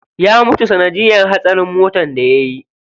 Ya mutu sanadiyar hatsarin motar da yayi.